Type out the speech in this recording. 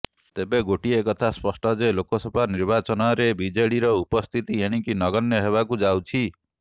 ତେବେ ଗୋଟିଏ କଥା ସ୍ପଷ୍ଟ ଯେ ଲୋକସଭା ନିର୍ବାଚନରେ ବିଜେଡ଼ିର ଉପସ୍ଥିତି ଏଣିକି ନଗଣ୍ୟ ହେବାକୁ ଯାଉଛି